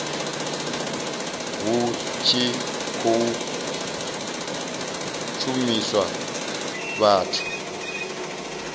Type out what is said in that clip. hu tshi khou shumiswa vhathu